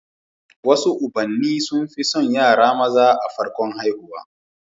Wasu ubanni sun fi son yara maza a farkon haihuwa